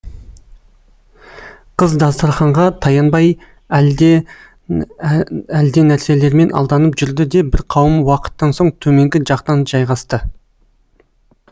қыз дастарханға таянбай әлденәрселермен алданып жүрді де бір қауым уақыттан соң төменгі жақтан жайғасты